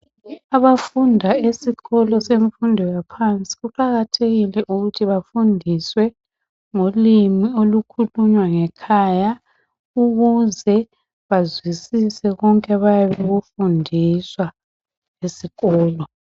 Abafunda esikolo semfundo yaphansi kuqakathekile ukuthi bafundiswe ngolimi olukhulunywa ngekhaya ukuze bazwisise konke abayabe bekufundiswa esikolo.